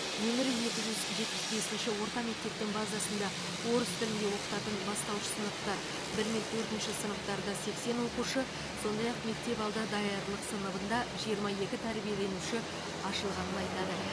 нөмірі екі жүз жетпіс бесінші орта мектептің базасында орыс тілінде оқытатын бастауыш сыныптар бір мен төртінші сыныптарда сексен оқушы сондай ақ мектепалды даярлық сыныбында жиырма екі тәрбиеленуші ашылғанын айтады